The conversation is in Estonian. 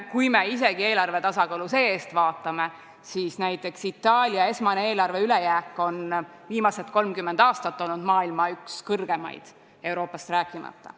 Kui me isegi eelarve tasakaalu seestpoolt vaatame, siis näiteks Itaalia esmane eelarve ülejääk on viimased 30 aastat olnud maailma üks suuremaid, Euroopast rääkimata.